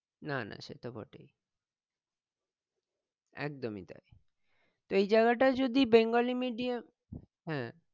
না না সে তো বটেই একদমই তাই এই জায়গাটা যদি বেঙ্গলি medium হ্যাঁ